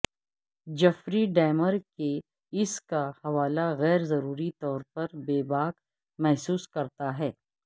Jeffrey Dahmer کے اس کا حوالہ غیر ضروری طور پر بے باک محسوس کرتا ہے